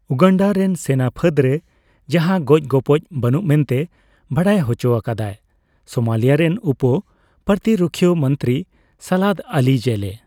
ᱩᱜᱟᱱᱰᱟ ᱨᱮᱱ ᱥᱮᱱᱟᱯᱷᱟᱹᱫᱽ ᱨᱮ ᱡᱟᱦᱟᱸᱱ ᱜᱚᱡᱼᱜᱚᱯᱚᱡ ᱵᱟᱱᱩᱜ ᱢᱮᱱᱛᱮ ᱵᱟᱰᱟᱭ ᱦᱚᱪᱚ ᱟᱠᱟᱫᱟᱭ ᱥᱳᱢᱟᱞᱤᱭᱟ ᱨᱮᱱ ᱩᱯᱚᱼᱯᱨᱚᱛᱤᱨᱩᱠᱷᱤᱭᱟᱹᱢᱚᱱᱛᱨᱤ ᱥᱟᱞᱟᱫᱽ ᱟᱹᱞᱤ ᱡᱮᱞᱮ ᱾